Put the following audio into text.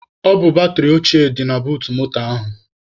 Ọ bụ batịrị ochịe dị na buut moto ahụ.